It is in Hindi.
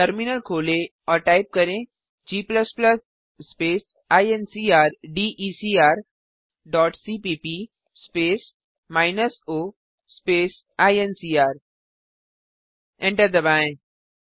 टर्मिनल खोलें और टाइप करें g स्पेस इनक्रडेकर डॉट सीपीप स्पेस माइनस ओ स्पेस ईएनसीआर एंटर दबाएँ